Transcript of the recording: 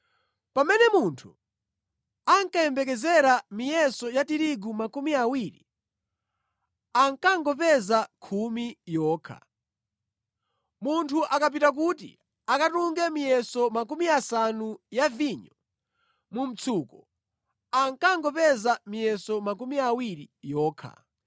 Pamene munthu ankayembekezera miyeso ya tirigu makumi awiri ankangopeza khumi yokha. Munthu akapita kuti akatunge miyeso makumi asanu ya vinyo mu mtsuko, ankangopeza miyeso makumi awiri yokha.